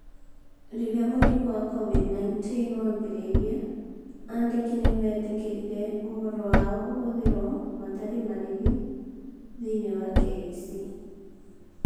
Rĩrĩa mũrimũ wa Covid-19 waambĩrĩirie, andĩki nĩ meetĩkĩririe ũhoro wao ũhũthĩrũo hatarĩ marĩhi thĩinĩ wa KEC.